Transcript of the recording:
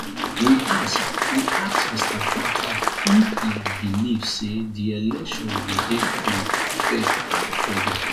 we ask we ask mr akpata if e believe say dis election go dey free fair and credible